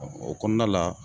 o kɔɔna la